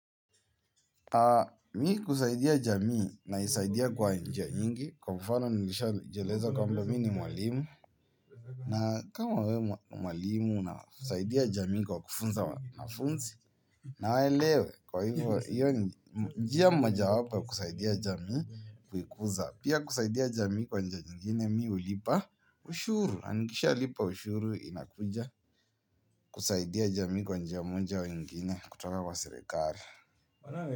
Mi kusaidia jamii naisaidia kwa njia nyingi kwa mfano nilisha jieleza kwamba mi ni mwalimu. Na kama we mwalimu na usaidia jamii kwa kufunza wanafunzi na waelewe kwa hivyo iyo njia mmoja wapo ya kusaidia jamii kuikuza. Pia kusaidia jamii kwa njia nyingine mi hulipa ushuru, na nikisha lipa ushuru inakuja kusaidia jamii kwa njia moja au nyingine kutoka wa serikali.